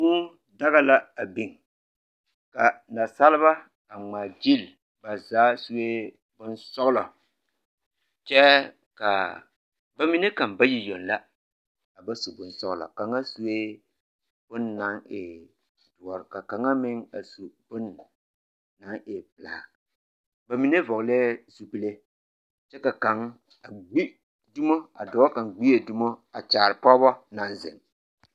Kūū daɡa la a biŋ ka nasaleba a ŋmaaɡyili ba zaa sue bonsɔɡelɔ kyɛ ka ba mine kaŋ bayi yoŋ la a ba su bonsɔɡelɔ kaŋa sue bon na e doɔre ka kaŋa meŋ a su bon na e pelaa ba mine vɔɔlɛɛ zupile kyɛ ka kaŋ ɡbi dumo a kyaare pɔɔbɔ na zeŋ.